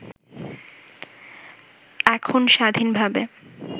এখণ স্বাধীনভাবে